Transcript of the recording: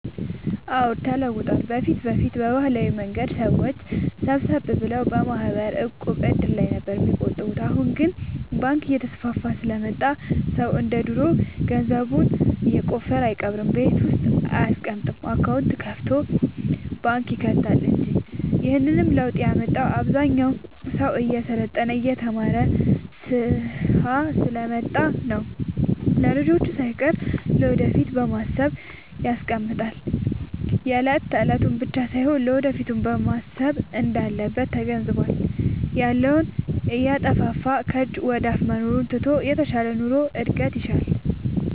አዎድ ተለውጧል በፊት በፊት በባህላዊ መንገድ ሰዎች ሰብሰብ ብለው በማህበር፣ ዕቁብ፣ እድር ላይ ነበር የሚቆጥቡት አሁን ግን ባንክ እየተስፋፋ ስለመጣ ሰው እንደ ድሮ ገንዘቡን የቆፈረ አይቀብርም ቤት ውስጥ አይያስቀምጥም አካውንት ከፋቶ ባንክ ይከታል እንጂ ይህንንም ለውጥ ያመጣው አብዛኛው ሰው እየሰለጠነ የተማረ ስሐ ስለመጣ ነው። ለልጅቹ ሳይቀር ለወደፊት በማሰብ ያስቀምጣል የለት የለቱን ብቻ ሳይሆን ለወደፊቱም ማሰብ እንዳለበት ተገንዝቧል። ያለውን እያጠፋፋ ከጅ ወደአፋ መኖሩን ትቶ የተሻለ ኑሮ እድገት ይሻል።